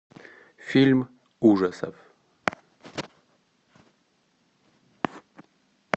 фильм ужасов